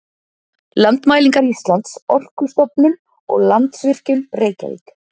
Landmælingar Íslands, Orkustofnun og Landsvirkjun, Reykjavík.